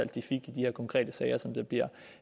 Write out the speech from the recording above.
de fik i de her konkrete sager som der bliver